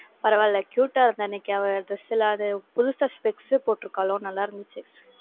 பரவாயில்ல, cute ஆ இருந்தா இன்னைக்கு அவ dress ல அது புதுசா specs போட்டிருக்காளோ நல்லா இருந்துச்சு.